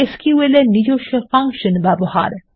SQL এর নিজস্ব function ব্যবহার